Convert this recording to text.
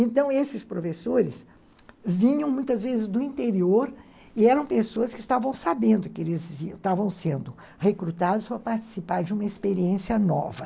Então, esses professores vinham muitas vezes do interior e eram pessoas que estavam sabendo que eles estavam sendo recrutados para participar de uma experiência nova.